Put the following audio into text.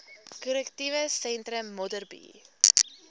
korrektiewe sentrum modderbee